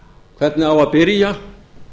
hvernig á að byrja